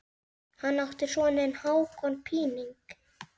Hann átti soninn Hákon Píning.